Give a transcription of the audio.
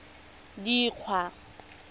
dikgwa